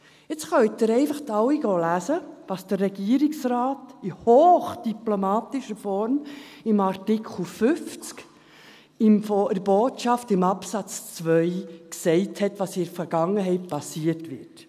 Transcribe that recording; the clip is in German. Jetzt können Sie einfach alle lesen gehen, was der Regierungsrat in hochdiplomatischer Form zu Artikel 50 in der Botschaft in Absatz 2 gesagt hat, was in der Vergangenheit passiert ist: